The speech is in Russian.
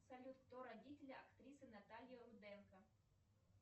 салют кто родители актрисы натальи руденко